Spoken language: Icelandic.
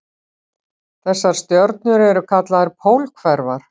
Þessar stjörnur eru kallaðar pólhverfar.